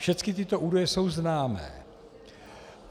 Všechny tyto údaje jsou známé.